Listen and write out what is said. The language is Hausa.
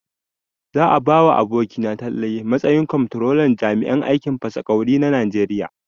Za a ba abokina Talle matsayin kwamtrolan jami'an aikin fasa ƙwauri na Najeriya.